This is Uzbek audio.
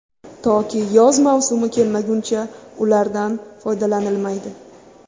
Toki yoz mavsumi kelmaguncha ulardan foydalanilmaydi.